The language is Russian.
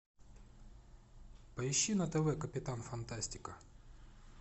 поищи на тв капитан фантастика